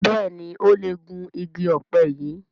Béèni o lẹ Gún ìgi òpe yí.